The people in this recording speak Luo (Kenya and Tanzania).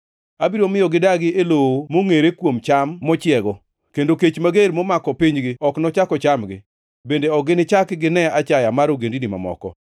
Abiro miyo gidagi e lowo mongʼere kuom cham mochiego, kendo kech mager momako pinygi ok nochak ochamgi. Bende ok ginichak gine achaya mar ogendini mamoko.